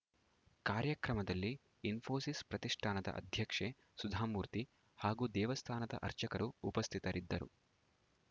ಕಾರ್ಯಕ್ರಮದಲ್ಲಿ ಇಸ್ಫೋಸಿಸ್‌ ಪ್ರತಿಷ್ಠಾನದ ಅಧ್ಯಕ್ಷೆ ಸುಧಾಮೂರ್ತಿ ಹಾಗೂ ದೇವಸ್ಥಾನದ ಅರ್ಚಕರು ಉಪಸ್ಥಿತರಿದ್ದರು